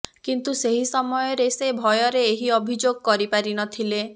କିନ୍ତୁ ସେହି ସମୟରେ ସେ ଭୟରେ ଏହି ଅଭିଯୋଗ କରି ପାରିନଥିଲେ